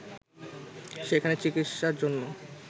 সেখানে চিকিৎসার জন্য